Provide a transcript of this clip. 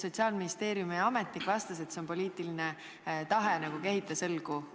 Sotsiaalministeeriumi ametnik vastas, et see on poliitiline tahe, nagu kehitas õlgu.